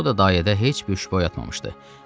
Bu da dayədə heç bir şübhə oyatmamışdı.